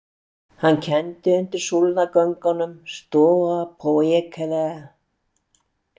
Hann kenndi undir súlnagöngunum Stoa Poikile.